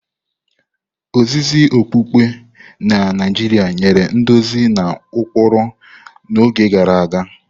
Ozizi okpukpe na Naijiria nyere nduzi na ụkpụrụ n'oge gara aga.